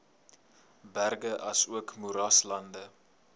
berge asook moeraslande